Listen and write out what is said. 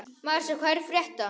Marsa, hvað er að frétta?